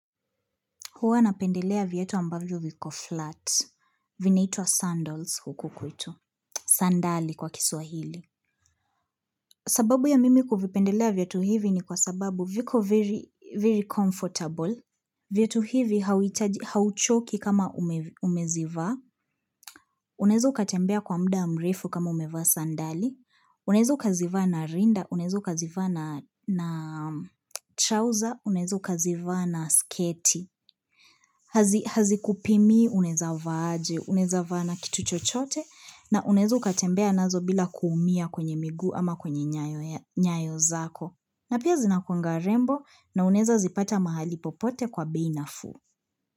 Huwa napendelea viatu ambavyo viko flat. Vina itwa sandals huku kwetu. Sandali kwa kiswahili. Sababu ya mimi kubipendelea viatu hivi ni kwa sababu viko very comfortable. Viatu hivi hauchoki kama umezivaa. Unaeza kutembea kwa mda mrefu kama umezivaa sandali. Unaezoa kuzivaa na rinda. Unaeza kuzivaa na trouser. Unaeza kuzivaa na sketi. Hazi kupimi uneza vaa aje, unaeza vaa na kitu chochote na unaeza kutembea nazo bila kuumia kwenye miguu ama kwenye nyayo zako. Na pia zinakunga rembo na uneza zipata mahali popote kwa bei nafuu.